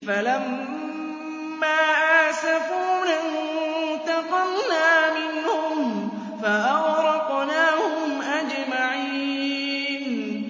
فَلَمَّا آسَفُونَا انتَقَمْنَا مِنْهُمْ فَأَغْرَقْنَاهُمْ أَجْمَعِينَ